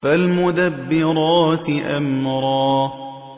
فَالْمُدَبِّرَاتِ أَمْرًا